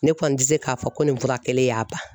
Ne kɔni ti se k'a fɔ ko nin fura kɛlen y'a ban .